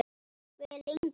Hve lengi?